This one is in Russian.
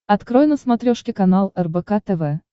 открой на смотрешке канал рбк тв